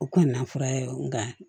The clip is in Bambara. U kɔni na fura ye nka